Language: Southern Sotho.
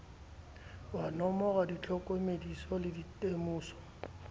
wa nomora ditlhokomediso le ditemoso